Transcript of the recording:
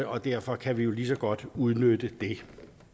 og derfor kan vi jo lige så godt udnytte det